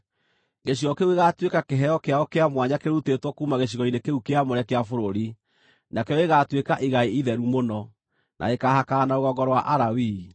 Gĩcigo kĩu gĩgaatuĩka kĩheo kĩao kĩa mwanya kĩrutĩtwo kuuma gĩcigo-inĩ kĩu kĩamũre kĩa bũrũri, nakĩo gĩgaatuĩka igai itheru mũno, na gĩkaahakana na rũgongo rwa Alawii.